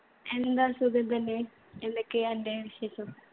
എന്താ? സുഖം തന്നെ? എന്തൊക്കെയാ അൻ്റെ വിശേഷം?